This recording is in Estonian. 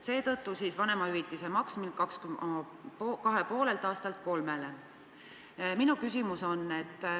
Seepärast soovin pikendada järjestikku sündivate laste puhul samas suuruses vanemahüvitise maksmist 2,5 aastalt 3-aastase sünnivahemikuni.